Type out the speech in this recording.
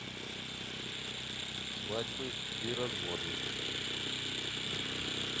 свадьбы и разводы